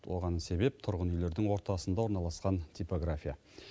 оған себеп тұрғын үйлердің ортасында орналасқан типография